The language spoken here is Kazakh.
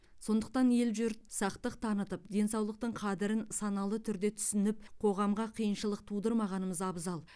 сондықтан ел жұрт сақтық танытып денсаулықтың қадірін саналы түрде түсініп қоғамға қиыншылық тудырмағанымыз абзал